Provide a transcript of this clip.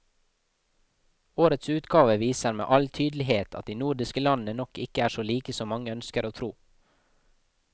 Årets utgave viser med all tydelighet at de nordiske landene nok ikke er så like som mange ønsker å tro.